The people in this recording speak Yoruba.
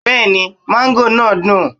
Bẹ́ẹ̀ni mango náà dùn.